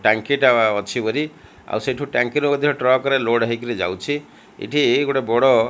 ଟାଙ୍କି ଟା ପା ଅଛି ଭରି ଆଉ ସେଠୁ ଟାଙ୍କି ରୁ ମଧ୍ୟ ଟ୍ରକ ରେ ଲୋଡ ହେଇକିରି ଯାଉଛି ଏଠି ଗୋଟେ ବଡ଼।